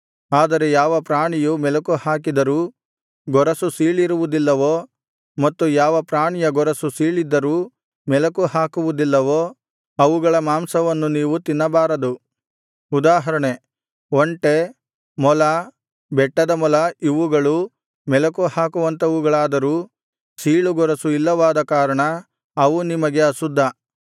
ಆದರೆ ಯಾವ ಪ್ರಾಣಿಯು ಮೆಲಕುಹಾಕಿದರೂ ಗೊರಸು ಸೀಳಿರುವುದಿಲ್ಲವೋ ಮತ್ತು ಯಾವ ಪ್ರಾಣಿಯ ಗೊರಸು ಸೀಳಿದ್ದರೂ ಮೆಲಕು ಹಾಕುವುದಿಲ್ಲವೋ ಅವುಗಳ ಮಾಂಸವನ್ನು ನೀವು ತಿನ್ನಬಾರದು ಉದಾಹರಣೆ ಒಂಟೆ ಮೊಲ ಬೆಟ್ಟದಮೊಲ ಇವುಗಳು ಮೆಲಕುಹಾಕುವಂಥವುಗಳಾದರೂ ಸೀಳುಗೊರಸು ಇಲ್ಲವಾದ ಕಾರಣ ಅವು ನಿಮಗೆ ಅಶುದ್ಧ